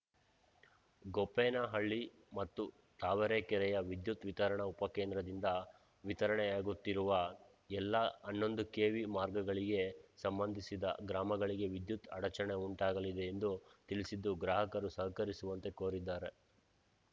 ಗೋಪ್ಪೇನಹಳ್ಳಿ ಮತ್ತು ತಾವರೆಕೆರೆಯ ವಿದ್ಯುತ್‌ ವಿತರಣಾ ಉಪ ಕೇಂದ್ರದಿಂದ ವಿತರಣೆಯಾಗುತ್ತೀರುವ ಎಲ್ಲ ಹನ್ನೊಂದು ಕೆವಿ ಮಾರ್ಗಗಳಿಗೆ ಸಂಬಂಧಿಸಿದ ಗ್ರಾಮಗಳಿಗೆ ವಿದ್ಯುತ್‌ ಅಡಚಣೆ ಉಂಟಾಗಲಿದೆ ಎಂದು ತಿಳಿಸಿದ್ದು ಗ್ರಾಹಕರು ಸಹಕರಿಸುವಂತೆ ಕೋರಿದ್ದಾರೆ